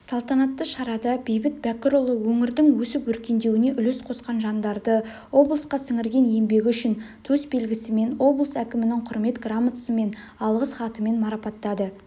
салтанатты шарада бейбіт бәкірұлы өңірдің өсіп-өркендеуіне үлес қосқан жандарды облысқа сіңірген еңбегі үшін төсбелгісімен облыс әкімінің құрмет грамотасымен алғыс хатымен марапаттады